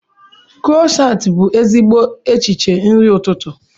Krosant bụ ezigbo echiche nri ụtụtụ.